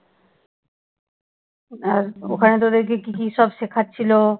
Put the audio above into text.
আর ওখানে তোদের কি কি সব শেখাচ্ছিলো?